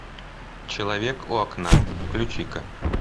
человек у окна включи ка